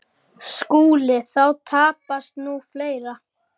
SKÚLI: Þá tapast nú fleira.